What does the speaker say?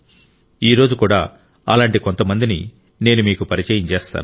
ఈ రోజు కూడా అలాంటి కొంతమందిని నేను మీకు పరిచయం చేస్తాను